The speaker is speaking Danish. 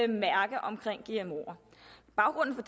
mærke omkring gmoer baggrunden